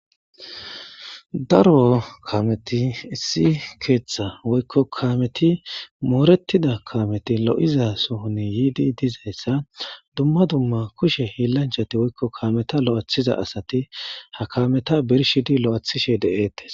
Daro kameti issi keeththa woykko kaameti mooretida kaameti lo'iza sohuni yiidi dizayssa dumma dumma kushe hiillanchati woykko kaameta lo'athiza asati ha kameta birshi di l'athishe deeettes